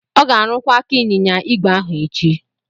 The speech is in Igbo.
Ọ ga-arụkwa aka ịnyịnya igwe ahu echi.